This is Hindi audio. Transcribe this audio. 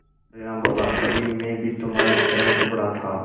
तेनालीराम बोला कभी मैं भी तुम्हारी तरह कुबड़ा था